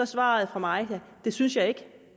svaret fra mig at det synes jeg ikke